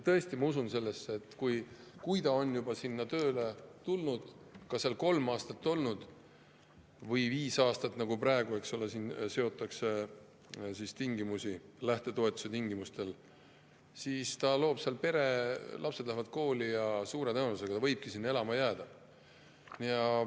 Tõesti, ma usun sellesse, et kui ta on juba sinna tööle läinud, seal olnud kolm või viis aastat, nagu praegu on lähtetoetuse tingimused, siis ta loob seal pere, lapsed lähevad kooli ja suure tõenäosusega ta võibki sinna elama jääda.